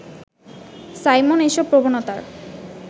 Simon এসব প্রবণতার